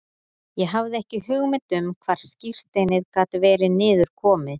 Ég hafði ekki hugmynd um hvar skírteinið gat verið niður komið.